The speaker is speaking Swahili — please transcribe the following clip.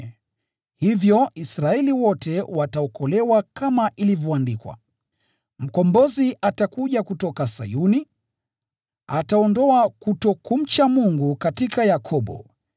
Hivyo Israeli wote wataokolewa. Kama ilivyoandikwa: “Mkombozi atakuja kutoka Sayuni; ataondoa kutokumcha Mungu katika Yakobo.